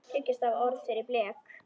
Þriggja stafa orð fyrir blek?